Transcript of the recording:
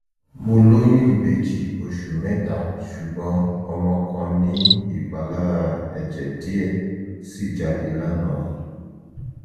mo lóyún ìbejì oṣù mẹta ṣùgbọ́n ọmọ kan ní ìpalára ẹ̀jẹ̀ díẹ̀ sì jáde lánàá